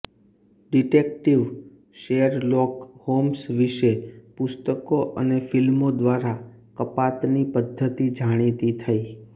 detective Sherlock Holmes વિશે પુસ્તકો અને ફિલ્મો દ્વારા કપાતની પદ્ધતિ જાણીતી થઈ